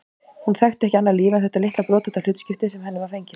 Hún þekkti ekki annað líf en þetta litla brothætta hlutskipti sem henni var fengið.